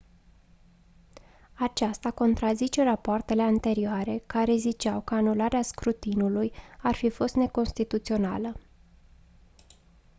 aceasta contrazice rapoartele anterioare care ziceau că anularea scrutinului ar fi fost neconstituțională